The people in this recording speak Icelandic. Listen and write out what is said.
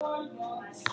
Margt hefur þó breyst.